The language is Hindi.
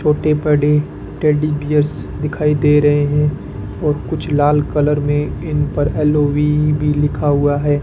छोटे-बड़े टेडी बीयर्स दिखाई दे रहे हैं और कुछ लाल कलर में इन पर एल_ओ_वी भी लिखा हुआ है।